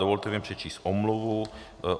Dovolte mi přečíst omluvu.